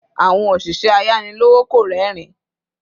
Àwọn oşişẹ ayani lowo kò rerin